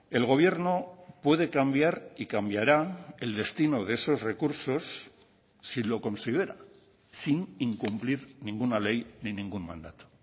el gobierno puede cambiar y cambiara el destino de esos recursos si lo considera sin incumplir ninguna ley ni ningún mandato